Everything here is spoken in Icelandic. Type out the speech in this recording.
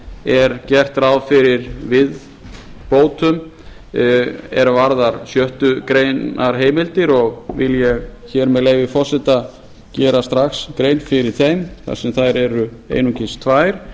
er gert ráð fyrir viðbótum er varða sjöttu grein heimildir og vil ég hér með leyfi forseta gera strax grein fyrir þeim þar sem þær eru einungis tvær